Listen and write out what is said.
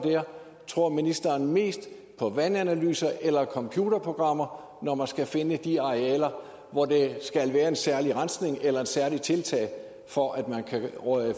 tror ministeren mest på vandanalyser eller på computerprogrammer når man skal finde de arealer hvor der skal være en særlig rensning eller et særligt tiltag for at man kan